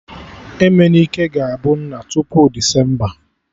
Emenike ga-abụ nna tupu Desemba